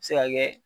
Se ka kɛ